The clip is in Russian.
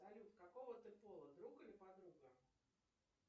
салют какого ты пола друг или подруга